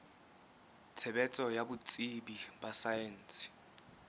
tshebetso ya botsebi ba saense